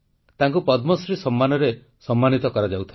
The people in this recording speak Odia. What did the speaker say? ତାଙ୍କୁ ପଦ୍ମଶ୍ରୀ ସମ୍ମାନରେ ସମ୍ମାନିତ କରାଯାଉଥିଲା